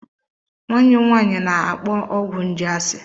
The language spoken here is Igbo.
Nwanne m nwaanyị na-akpọ ọgwụ nje asị.